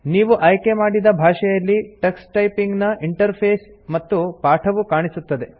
ನೀವು ಆಯ್ಕೆ ಮಾಡಿದ ಭಾಷೆಯಲ್ಲಿ ಟಕ್ಸ್ ಟೈಪಿಂಗ್ ನ ಇಂಟರ್ಫೇಸ್ ಮತ್ತು ಪಾಠವು ಕಾಣಿಸುತ್ತದೆ